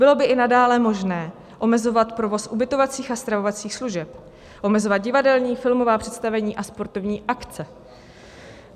Bylo by i nadále možné omezovat provoz ubytovacích a stravovacích služeb, omezovat divadelní, filmová představení a sportovní akce.